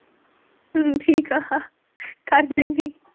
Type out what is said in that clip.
ਹਮ ਠੀਕ ਆ ਕਰ ਦਿੰਨੀ